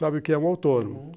Sabe o que é um autônomo? uhum.